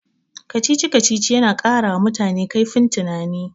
Kacici-kacicic yana ƙarawa mutane kaifin tunani.